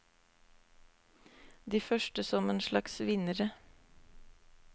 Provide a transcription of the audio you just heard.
De første som en slags vinnere.